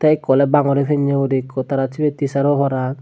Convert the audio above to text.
ekko ole bangori pinne guri ekko dibe tara teacher obo parapang.